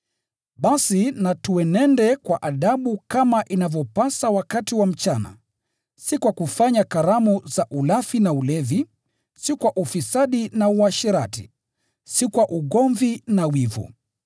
Basi na tuenende kwa adabu kama inavyopasa wakati wa mchana, si kwa kufanya karamu za ulafi na ulevi, si kwa ufisadi na uasherati, si kwa ugomvi na wivu.